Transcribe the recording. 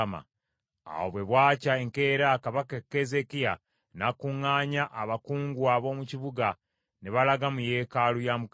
Awo bwe bwakya, enkeera kabaka Keezeekiya n’akuŋŋaanya abakungu ab’omu kibuga, ne balaga mu yeekaalu ya Mukama .